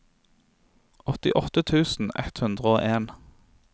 åttiåtte tusen ett hundre og en